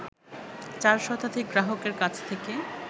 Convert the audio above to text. ৪ শতাধিক গ্রাহকের কাছ থেকে